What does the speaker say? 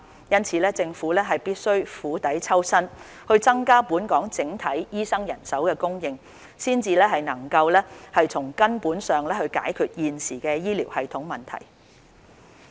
因此，政府必須釜底抽薪，增加本港整體醫生人手供應，才能夠從根本上解決現時醫療系統的問題。